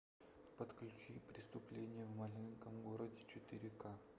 подключи преступление в маленьком городе четыре ка